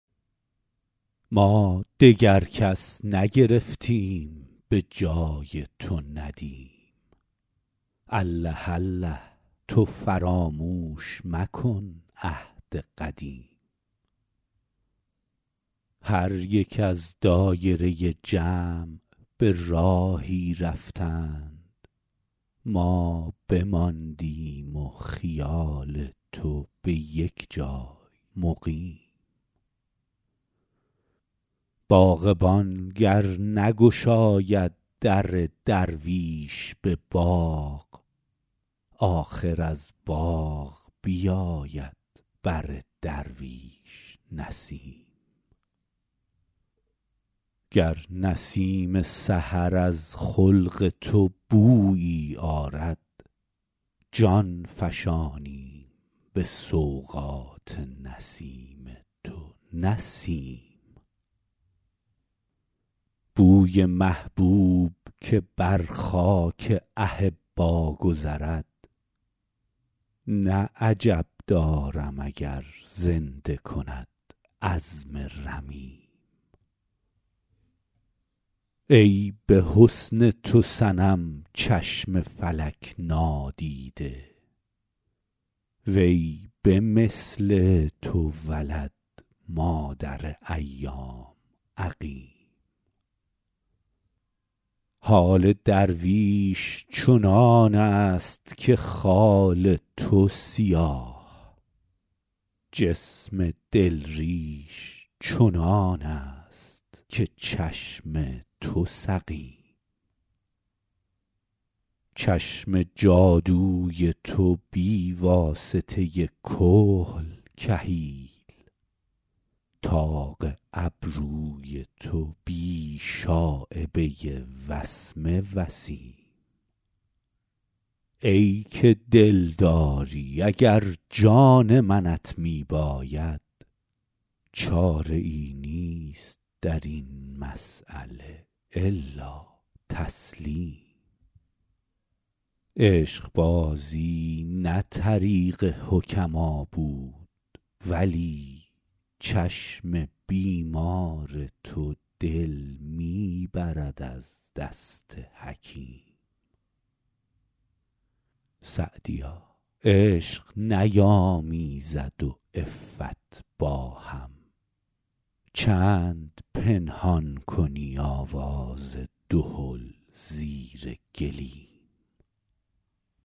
ما دگر کس نگرفتیم به جای تو ندیم الله الله تو فراموش مکن عهد قدیم هر یک از دایره جمع به راهی رفتند ما بماندیم و خیال تو به یک جای مقیم باغبان گر نگشاید در درویش به باغ آخر از باغ بیاید بر درویش نسیم گر نسیم سحر از خلق تو بویی آرد جان فشانیم به سوغات نسیم تو نه سیم بوی محبوب که بر خاک احبا گذرد نه عجب دارم اگر زنده کند عظم رمیم ای به حسن تو صنم چشم فلک نادیده وی به مثل تو ولد مادر ایام عقیم حال درویش چنان است که خال تو سیاه جسم دل ریش چنان است که چشم تو سقیم چشم جادوی تو بی واسطه کحل کحیل طاق ابروی تو بی شایبه وسمه وسیم ای که دلداری اگر جان منت می باید چاره ای نیست در این مسأله الا تسلیم عشقبازی نه طریق حکما بود ولی چشم بیمار تو دل می برد از دست حکیم سعدیا عشق نیامیزد و عفت با هم چند پنهان کنی آواز دهل زیر گلیم